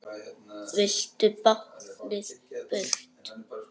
Vildu báknið burt.